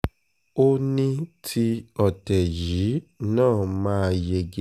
ó ní ti ọ̀tẹ̀ yìí náà máa yege